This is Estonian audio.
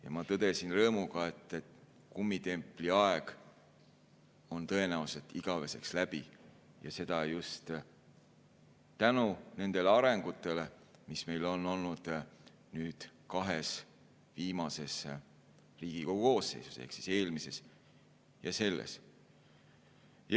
Ja ma tõdesin rõõmuga, et kummitempli aeg on tõenäoliselt igaveseks läbi, seda just tänu nendele arengusuundadele, mis meil on olnud kahes viimases Riigikogu koosseisus, eelmises ja selles.